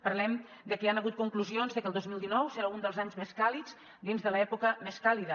parlem de que hi han hagut conclusions de que el dos mil dinou serà un dels anys més càlids dins de l’època més càlida